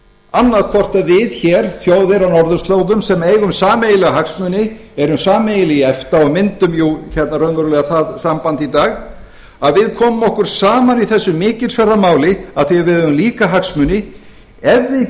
annaðhvort að við hér þjóðir á norðurslóðum sem eigum sameiginlega hagsmuni erum sameiginleg í efta og myndum raunverulega það samband í dag að við komum okkur saman í þessu mikilsverða máli af því að við höfum líka hagsmuni ef við